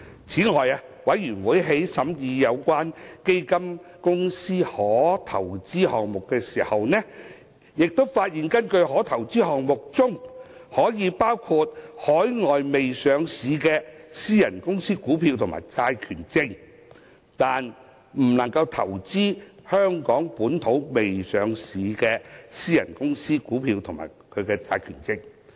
此外，法案委員會在審議有關基金公司的可投資項目時發現，可投資項目包括海外未上市的私人公司股票及債權證，但不包括香港未上市的私人公司股票及債權證。